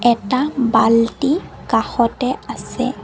এটা বাল্টি কাষতে আছে।